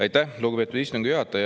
Aitäh, lugupeetud istungi juhataja!